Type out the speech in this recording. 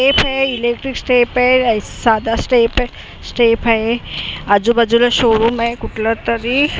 Step हे electric step हे साधा स्टेफ हैं स्टेप हे आजूबाजूला शोरूम आहे कुठलतरी.